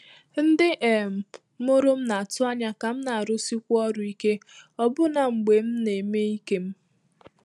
Ndị́ um mụ́rụ̀ m nà-àtụ́ ányá kà m nà-árụ́síkwu ọrụ́ íké ọbụ́nà mgbè m nà-émé íké m.